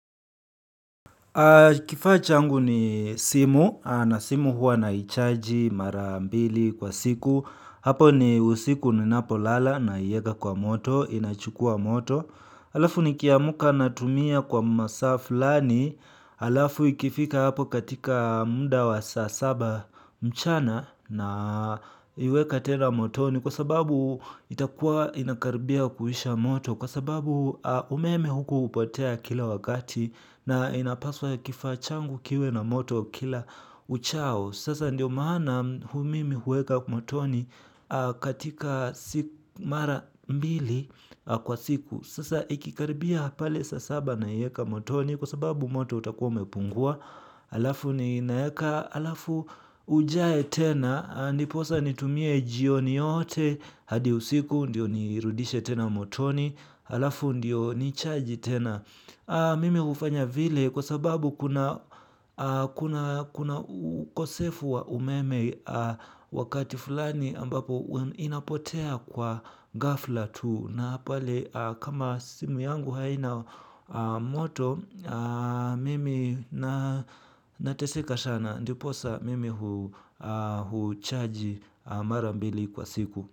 Kifaa changu ni simu na simu huwa naichaji mara mbili kwa siku hapo ni usiku ninapolala naieka kwa moto inachukua moto alafu nikiamuka natumia kwa masa flani alafu ikifika hapo katika muda wa saa saba mchana naiweka tena motoni kwa sababu itakuwa ina karibia kuisha moto kwa sababu umeme huku upotea kila wakati. Na inapaswa kifaa changu kiwe na moto kila uchao. Sasa ndiyo maana mimi huweka motoni katika si mara mbili kwa siku. Sasa ikikaribia pale saa saba naieka motoni kwa sababu moto utakuwa umepungua. Alafu ninaeka, alafu ujae tena, ndiposa nitumie jioni yote hadi usiku ndiyo nirudishe tena motoni, alafu ndiyo nicharge tena. Mimi ufanya vile kwa sababu kuna kosefu wa umeme wakati fulani ambapo inapotea kwa ghafla tu na pale kama simu yangu haina moto mimi nateseka sana ndiposa mimi huchaji mara mbili kwa siku.